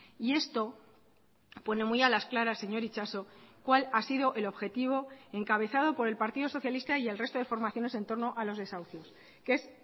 y esto pone muy a las claras señor itxaso cuál ha sido el objetivo encabezado por el partido socialista y el resto de formaciones entorno a los desahucios que es